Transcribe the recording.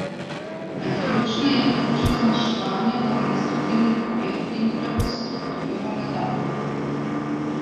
Med ključne je vključil zmanjševanje administrativnih ovir in prestrukturiranje davkov.